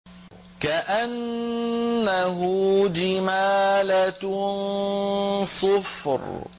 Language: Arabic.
كَأَنَّهُ جِمَالَتٌ صُفْرٌ